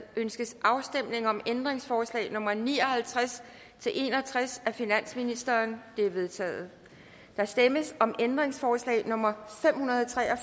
ønskes afstemning om ændringsforslag nummer ni og halvtreds til en og tres af finansministeren de er vedtaget der stemmes om ændringsforslag nummer fem hundrede og tre og